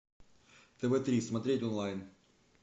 тв три смотреть онлайн